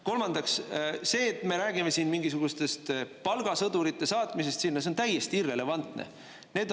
Kolmandaks, see, et me räägime siin mingisugustest palgasõdurite saatmisest sinna, on täiesti irrelevantne.